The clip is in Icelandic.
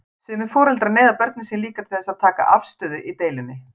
Sumir foreldrar neyða börnin sín líka til þess að taka afstöðu í deilunni.